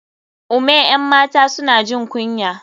ome 'yan mata suna jin kunya.